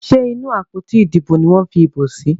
Ṣe inú àpótí Ìdìbò ní wón fí ibo sí?